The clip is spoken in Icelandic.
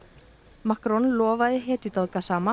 Macron lofaði hetjudáð